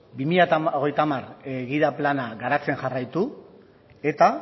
bi mila hogeita hamar gida plana garatzen jarraitu eta